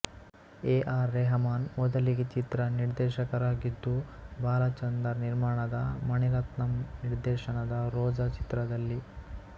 A R Rahman ಮೊದಲಿಗೆ ಚಿತ್ರ ನಿರ್ದೇಶಕರಾಗಿದ್ದೂ ಬಾಲಚಂದರ್ ನಿರ್ಮಾಣದ ಮಣಿರತ್ನಂ ನಿರ್ದೇಶನದ ರೋಜಾ ಚಿತ್ರದಲ್ಲಿ